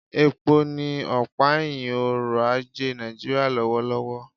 Epo ni ọ̀pá ẹ̀hìn ọrọ̀ ajé Nàìjíríà lọ́wọ́lọ́wọ́